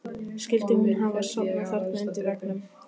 Skyldi hún hafa sofnað þarna undir veggnum?